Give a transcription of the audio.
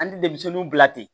An ti denmisɛnnunw bila ten